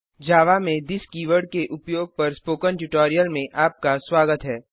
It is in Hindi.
जावा में थिस कीवर्ड के उपयोग पर स्पोकन ट्यूटोरियल में आपका स्वागत है